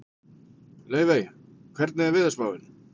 Laufey, hvernig er veðurspáin?